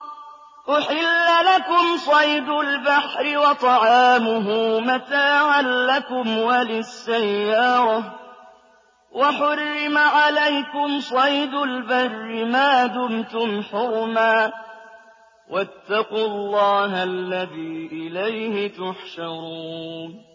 أُحِلَّ لَكُمْ صَيْدُ الْبَحْرِ وَطَعَامُهُ مَتَاعًا لَّكُمْ وَلِلسَّيَّارَةِ ۖ وَحُرِّمَ عَلَيْكُمْ صَيْدُ الْبَرِّ مَا دُمْتُمْ حُرُمًا ۗ وَاتَّقُوا اللَّهَ الَّذِي إِلَيْهِ تُحْشَرُونَ